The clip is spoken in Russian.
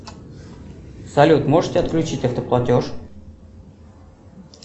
салют можете отключить автоплатеж